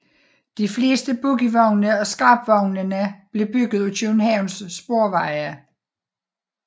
De fleste bogievogne og scrapvognene blev bygget af Københavns Sporveje